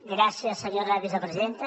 gràcies senyora vicepresidenta